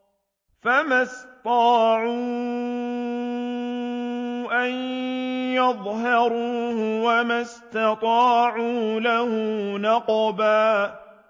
فَمَا اسْطَاعُوا أَن يَظْهَرُوهُ وَمَا اسْتَطَاعُوا لَهُ نَقْبًا